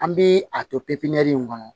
An bi a to in kɔnɔ